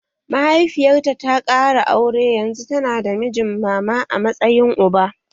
Mahaifiyarta ta ƙara aure yanzu tana da mijin mama a matsayin uba